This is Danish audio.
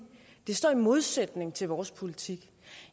de står i modsætning til vores politik